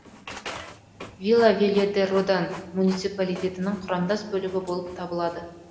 вила велья де родан муниципалитетінің құрамдас бөлігі болып табылады